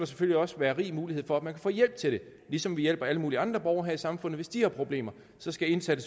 selvfølgelig også være rig mulighed for at man kan få hjælp til det ligesom vi hjælper alle mulige andre borgere her i samfundet hvis de har problemer så skal indsatte